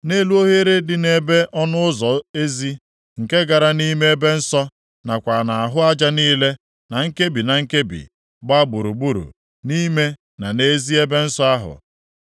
Nʼelu oghere dị nʼebe ọnụ ụzọ ezi, nke gara nʼime ebe nsọ, nakwa nʼahụ aja niile, na nkebi na nkebi, gbaa gburugburu nʼime na nʼezi ebe nsọ ahụ,